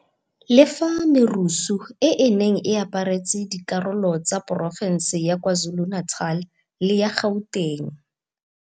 Le fa merusu e e neng e aparetse dikarolo tsa porofense ya KwaZulu-Natal le ya Gauteng